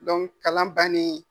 Dɔnku kalan bannen